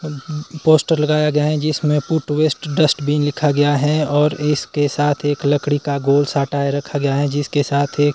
poster लगाया गया है जिसमें फूड वेस्ट डस्टबिन लिखा गया है और इसके साथ एक लकड़ी का गोल साटा रखा गया है जिसके साथ एक--